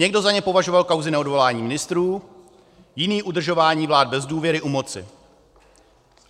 Někdo za ně považoval kauzy neodvolání ministrů, jiný udržování vlád bez důvěry u moci.